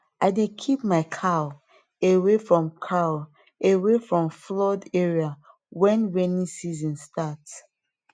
i dey keep my cow away from cow away from flood area when rainy season start